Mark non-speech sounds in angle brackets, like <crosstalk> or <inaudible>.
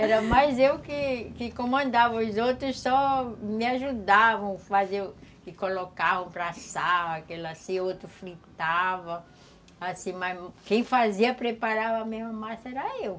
<laughs> Era mais eu que que comandava, os outros só me ajudavam, faziam e colocavam para assar, aquele assim, outro fritava, assim, mas quem fazia, preparava a mesma massa era eu.